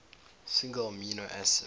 single amino acid